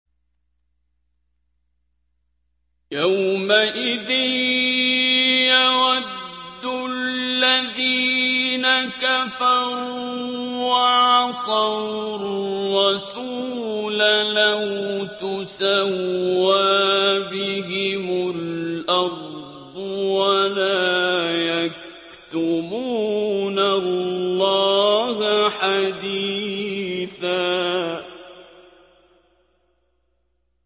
يَوْمَئِذٍ يَوَدُّ الَّذِينَ كَفَرُوا وَعَصَوُا الرَّسُولَ لَوْ تُسَوَّىٰ بِهِمُ الْأَرْضُ وَلَا يَكْتُمُونَ اللَّهَ حَدِيثًا